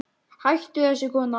Hættu þessu kona!